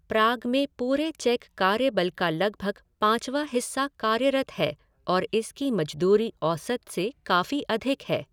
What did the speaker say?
प्राग में पूरे चेक कार्यबल का लगभग पाँचवां हिस्सा कार्यरत है और इसकी मजदूरी औसत से काफी अधिक है।